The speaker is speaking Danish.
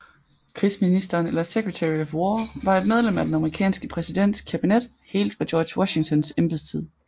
Krigsministeren eller Secretary of War var et medlem af den amerikanske præsidents kabinet helt fra George Washingtons embedstid